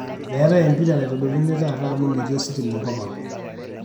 meetae empira naitodoluni taata amu metii ositima enkop ang